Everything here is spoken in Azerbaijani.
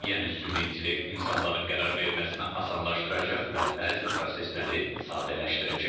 Yəni süni intellekt insanların qərar verməsini asanlaşdıracaq və bəzi prosesləri sadələşdirəcək.